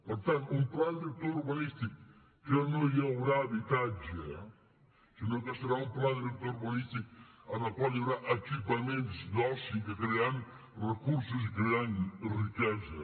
per tant un pla director urbanístic que no hi haurà habitatge sinó que serà un pla director urbanístic en el qual hi haurà equipaments d’oci que crearan recursos i crearan riquesa